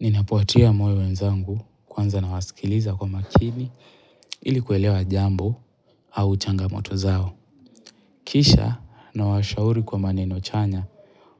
Ninapo watia moyo wenzangu kwanza na wasikiliza kwa makini ili kuelewa jambo au changamoto zao. Kisha nawashauri kwa maneno chanya